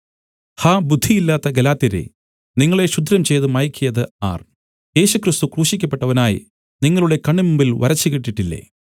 ഹാ ബുദ്ധിയില്ലാത്ത ഗലാത്യരേ നിങ്ങളെ ക്ഷുദ്രംചെയ്ത് മയക്കിയത് ആർ യേശുക്രിസ്തു ക്രൂശിക്കപ്പെട്ടവനായി നിങ്ങളുടെ കണ്ണിന് മുമ്പിൽ വരച്ചുകിട്ടിയിട്ടില്ലേ